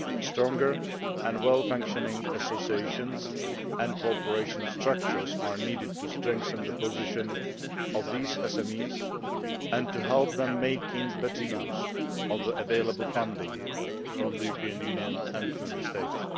Stronger and well functioning associations and cooperation structures are needed to strengthen the position of these SMEs and to help them make better use of the available funding from the European Union and Member States.